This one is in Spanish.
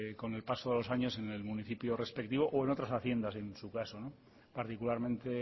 con el paso de los años en el municipio respectivo o en otras haciendas en su caso particularmente